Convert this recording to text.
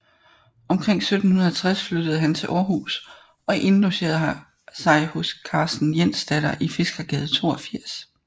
Omkring 1760 flyttede han til Århus og indlogerede sig hos Karens Jensdatter i Fiskergade 82